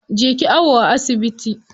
Je ki awo a asibiti.